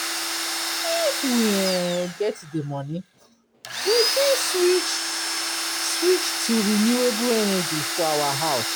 If we um get di money, we fit switch switch to renewable energy for our house